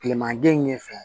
Kileman gɛn in ɲɛ fɛ